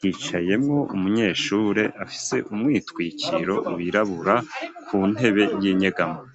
hicayemwo umunyeshure afise umwitwikiro wirabura ku ntebe y'inyegamo.